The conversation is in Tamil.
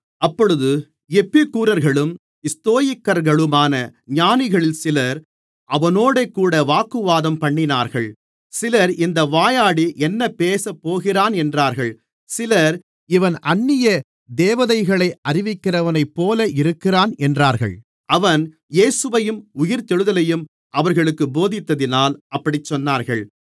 அப்பொழுது எப்பிக்கூரர்களும் ஸ்தோயிக்கர்களுமான ஞானிகளில் சிலர் அவனோடுகூட வாக்குவாதம்பண்ணினார்கள் சிலர் இந்த வாயாடி என்ன பேசப்போகிறான் என்றார்கள் சிலர் இவன் அந்நிய தேவதைகளை அறிவிக்கிறவனைப்போல இருக்கிறான் என்றார்கள் அவன் இயேசுவையும் உயிர்த்தெழுதலையும் அவர்களுக்குப் போதித்ததினால் அப்படிச் சொன்னார்கள்